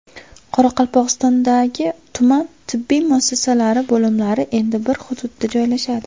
Qoraqalpog‘istondagi tuman tibbiy muassasalari bo‘limlari endi bir hududda joylashadi.